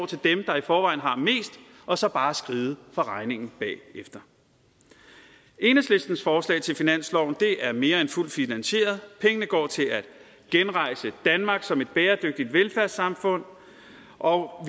til dem der i forvejen har mest og så bare skride fra regningen bagefter enhedslistens forslag til finansloven er mere end fuldt finansieret pengene går til at genrejse danmark som et bæredygtigt velfærdssamfund og